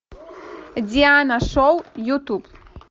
диана шоу ютуб